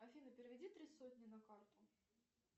афина переведи три сотни на карту